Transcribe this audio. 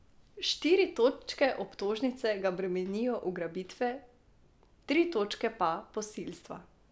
Štiri točke obtožnice ga bremenijo ugrabitve, tri točke pa posilstva.